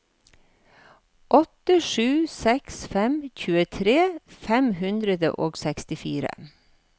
åtte sju seks fem tjuetre fem hundre og sekstifire